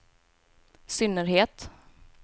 synnerhet